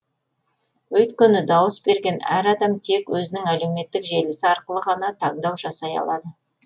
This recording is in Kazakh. өйткені дауыс берген әр адам тек өзінің әлеуметтік желісі арқылы ғана таңдау жасай алады